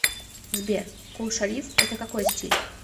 сбер кул шариф это какой стиль